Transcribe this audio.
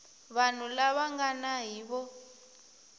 vanhu lava nga na hiv